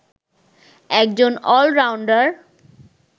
একজন অলরাউন্ডার